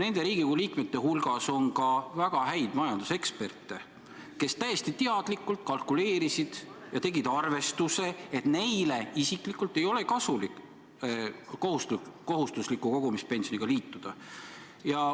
Nende Riigikogu liikmete hulgas on ka väga häid majanduseksperte, kes täiesti teadlikult kalkuleerisid ja tegid arvestuse, et neile isiklikult ei ole kasulik kohustusliku kogumispensioniga liituda.